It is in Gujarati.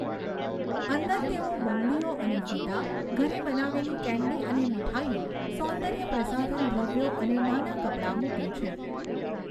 અંદર તેઓ બંગડીઓ અને ફીતા, ઘરે બનાવેલી કેન્ડી અને મીઠાઈઓ, સૌંદર્ય પ્રસાધન દ્રવ્યો અને નાના કપડાં મૂકે છે.